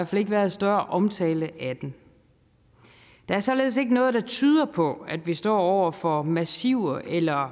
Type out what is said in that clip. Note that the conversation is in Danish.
fald ikke været større omtale af dem der er således ikke noget der tyder på at vi står over for massive eller